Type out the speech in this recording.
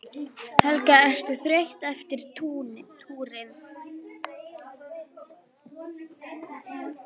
Helga: Ertu þreyttur eftir túrinn?